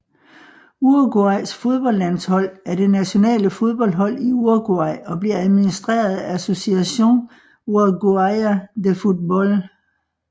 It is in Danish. Uruguays fodboldlandshold er det nationale fodboldhold i Uruguay og bliver administreret af Asociación Uruguaya de Fútbol